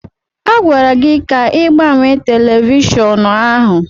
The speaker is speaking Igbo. A gwara gị ka ị gbanye telivishọn ahụ!